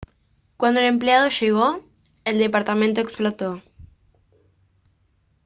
cuando el empleado llegó el departamento explotó